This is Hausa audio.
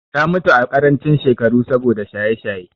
Ta mutu a ƙarancin shekaru saboda shaye-shaye.